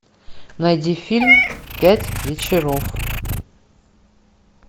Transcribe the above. найди фильм пять вечеров